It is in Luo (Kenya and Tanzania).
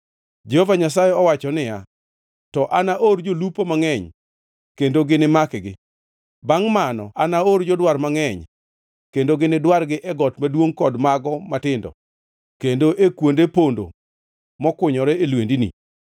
Jehova Nyasaye owacho niya, “To anaor jolupo mangʼeny kendo ginimakgi. Bangʼ mano anaor jodwar mangʼeny, kendo ginidwargi e got maduongʼ kod mago matindo kendo e kuonde pondo mokunyore e lwendni.